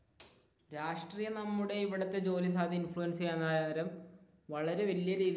രാഷ്ട്രീയം നമ്മുടെ ഇവിടത്തെ ജോലി സാധ്യതയെ ഇൻഫ്ലുവൻസ ചെയ്യാൻ നേരം വളരെ വല്യ രീതിയിൽ